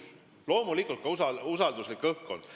See näitab loomulikult ka usalduslikku õhkkonda.